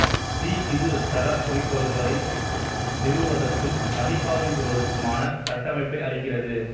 C இது தரக் குறிக்கோள்களை நிறுவுவதற்கும் மதிப்பாய்வு செய்வதற்குமான கட்டமைப்பை அளிக்கிறது